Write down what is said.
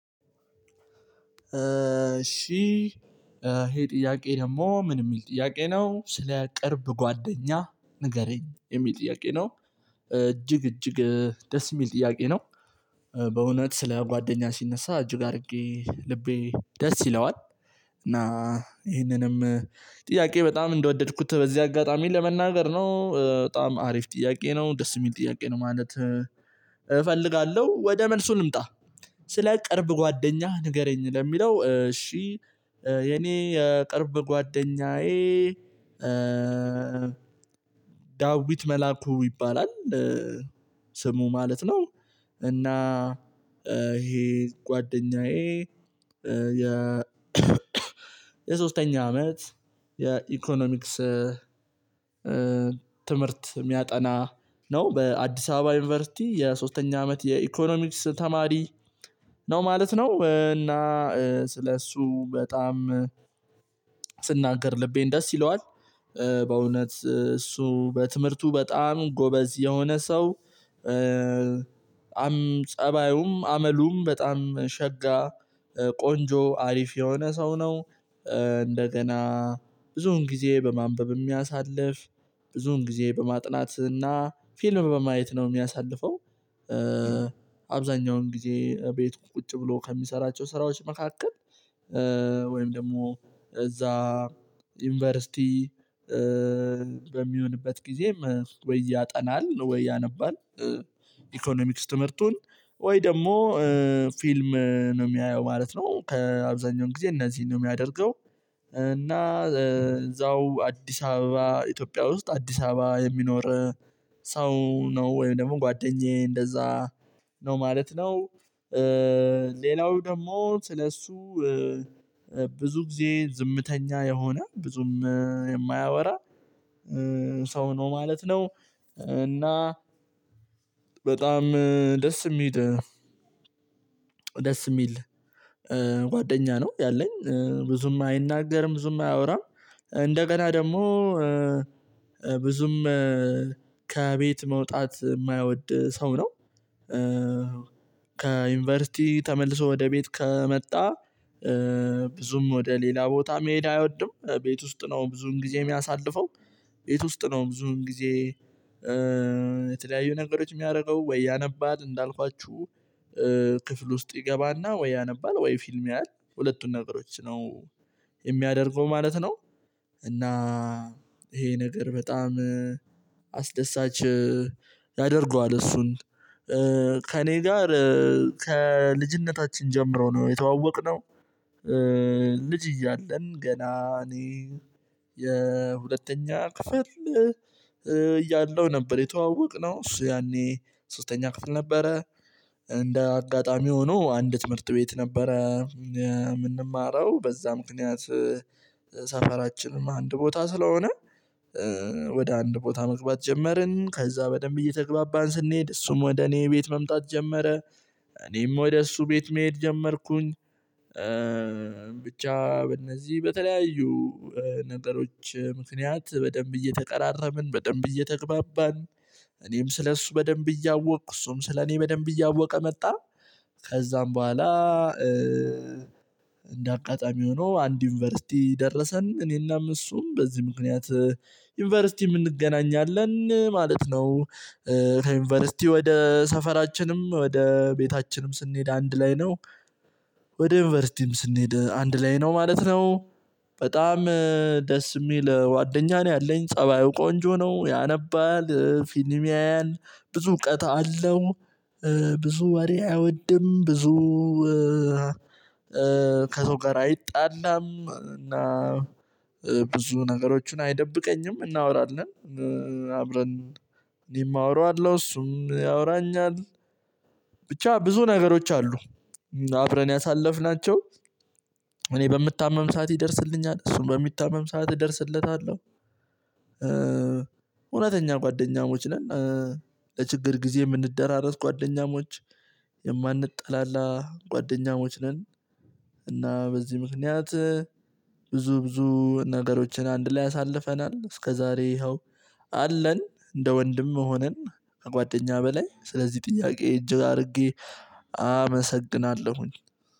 እሺ ይሄ ጥያቄ ደግሞ ምን የሚል ጥያቄ ነው ስለ ቅርብ ጓደኛ ንገረኝ የሚል ጥያቄ ነው። እጅግ እጅግ ደስ የሚል ጥያቄ ነው። በእውነት ስለ ጓደኛ ሲነሳ እጅግ አድርጌ ልቤ ደስ ይለዋል። እና ይሄንንም ጥያቄ በጣም እንደወደድኩት በዚህ አጋጣሚ ለመናገር ነው በጣም አሪፍ ጥያቄ ነው ደስ የሚል ጥያቄ ነው ማለት። እፈልጋለሁ ወደ መልሱ ልምጣ። ስለ ቅርብ ጓደኛህ ንገረኝ ለሚለው እሺ። የኔ የቅርብ ጓደኛዬ ዳዊት መላኩ ይባላል። ስሙ ማለት ነው። እና ይሄ ጓደኛዬ። የ የሶስተኛ አመት የኢኮኖሚክስ ትምህርት የሚያጠና ነው በአዲስ አበባ ዩኒቨርሲቲ የሶስተኛ አመት የኢኮኖሚክስ ተማሪ ነው ማለት ነው። እና ስለእሱ በጣም ስናገር ልቤን ደስ ይለዋል። በእውነት እሱ በትምህርቱ በጣም ጎበዝ የሆነ ሰው አም ፀባዩም አመሉም በጣም ሸጋ ቆንጆ አሪፍ የሆነ ሰው ነው። እንደገና ብዙውን ጊዜ በማንበብ የሚያሳልፍ ብዙውን ጊዜ በማጥናት እና ፊልም በማየት ነው የሚያሳልፈው። አብዛኛውን ጊዜ ቤት ቁጭ ብሎ ከሚሰራቸው ስራዎች መካከል ወይም ደግሞ እዛ ዩኒቨርሲቲ በሚሆንበት ጊዜ ወይ ያጠናል ወይ ያነባል። ኢኮኖሚክስ ትምህርቱን ወይ ደግሞ ፊልም ነው የሚያየው ማለት ነው ከአብዛኛው ጊዜ እነዚህን ነው የሚያደርገው። እና እዛው አዲስ አበባ ኢትዮጵያ ውስጥ አዲስ አበባ የሚኖር ሰው ነው ወይም ደግሞ ጓደኛዬ እንደዛ ነው ማለት ነው። ሌላው ደግሞ ስለሱ ብዙ ጊዜ ዝምተኛ የሆነ ብዙም የማያወራ ሰው ነው ማለት ነው። እና በጣም ደስ የሚል ደስ የሚል ጓደኛ ነው ያለኝ ብዙም አይናገርም ብዙም አያወራም። እንደገና ደግሞ ብዙም ከቤት መውጣት የማይወድ ሰው ነው። ከዩኒቨርሲቲ ተመልሶ ወደ ቤት ከመጣ ብዙም ወደ ሌላ ቦታ መሄድ አይወድም ቤት ውስጥ ነው ብዙን ጊዜ የሚያሳልፈው። ቤት ውስጥ ነው ብዙ ጊዜ የተለያዩ ነገሮች የሚያደርገው ወይ ያነባል እንዳልኳችሁ ክፍል ውስጥ ይገባና ወይ ያነባል ወይ ፊልም ያያል ሁለቱን ነገሮች ነው የሚያደርገው ማለት ነው። እና ይሄ ነገር በጣም አስደሳች ያደርገዋል እሱን ከእኔ ጋር ከልጅነታችን ጀምረው ነው የተዋወቅነው። ልጅ እያለን ገና እኔ የሁለተኛ ክፍል እያለው ነበር የተዋወቅነው እሱ ያኔ ሶስተኛ ክፍል ነበረ። እንደ አጋጣሚ ሆኖ አንድ ትምህርት ቤት ነበረ የምንማረው በዛ ምክንያት ሰፈራችንም አንድ ቦታ ስለሆነ ወደ አንድ ቦታ መግባት ጀመርን ከዛ በደንብ እየተግባባን ስንሄድ እሱም ወደ እኔ ቤት መምጣት ጀመረ። እኔም ወደ እሱ ቤት መሄድ ጀመርኩኝ። ብቻ በእነዚህ በተለያዩ ነገሮች ምክንያት በደንብ እየተቀራረብን በደንብ እየተግባባን እኔም ስለእሱ በደንብ እያወቅኩ እሱም ስለኔ በደንብ እያወቀ መጣ። ከዛም በኋላ እንደ አጋጣሚ ሆኖ አንድ ዩኒቨርሲቲ ደረሰን እኔና እነሱም በዚህ ምክንያት ዩኒቨርሲቲም እንገናኝ አለን ማለት ነው። ወደ ሰፈራችንም ወደ ቤታችንም ስንሄድ አንድ ላይ ነው። ወደ ዩኒቨርሲቲም ስንሄድ አንድ ላይ ነው ማለት ነው። በጣም ደስ የሚል ዋደኛ ነው ያለኝ ፀባዩ ቆንጆ ነው ያነባል ፊልም ያያል ብዙ እውቀት አለው። ብዙ ወሬ አይወድም ብዙ ከቶከር አይጣላም እና ብዙ ነገሮችን አይደብቀኝም እናወራለን አብረን እኔም አወራዋለሁ እሱም ያወራኛል። ብቻ ብዙ ነገሮች አሉ። አብረን ያሳለፍናቸው እኔ በምታመም ሰዓት ይደርስልኛል እሱም በሚታመም ሰዓት እደርስለታለሁ። እውነተኛ ጓደኛሞች ነን። ለችግር ጊዜ የምንደራረስ ጓደኛሞች የማንጠላላ ጓደኛሞች ነን። እና በዚህ ምክንያት ብዙ ብዙ ነገሮችን አንድ ላይ አሳልፈናል እስከዛሬ ይኸው አለን እንደ ወንድም ሆነን። ከጓደኛ በላይ ስለዚህ ጥያቄ እጅግ አድርጌ አመሰግናለሁኝ።